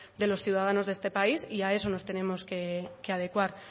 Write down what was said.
de los ciudadanos de este país y a eso nos tenemos que adecuar